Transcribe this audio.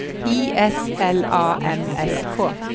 I S L A M S K